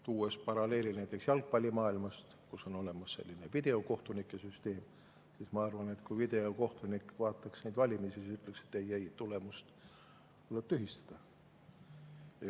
Tuues paralleeli näiteks jalgpallimaailmast, kus on olemas videokohtunike süsteem: ma arvan, et kui videokohtunik vaataks neid valimisi, siis ta ütleks, et ei, tulemus tuleb tühistada.